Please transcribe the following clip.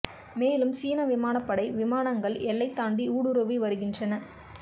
மேலும் சீன விமானப்படை விமானங்கள் எல்லை தாண்டி ஊடுருவி வருகின்றன